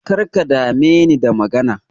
Karka dame ni da magana.